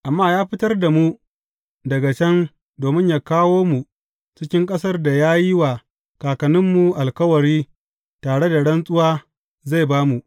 Amma ya fitar da mu daga can domin yă kawo mu cikin ƙasar da ya yi wa kakanninmu alkawari tare da rantsuwa zai ba mu.